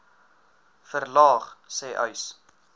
verlaag sê uys